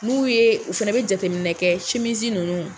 N b'u ye u fana bɛ jateminɛ kɛ simisi ninnu